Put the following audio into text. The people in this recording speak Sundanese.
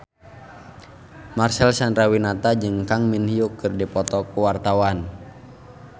Marcel Chandrawinata jeung Kang Min Hyuk keur dipoto ku wartawan